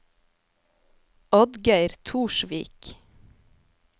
Oddgeir Torsvik